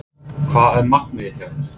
Hvað er markmiðið hjá þér?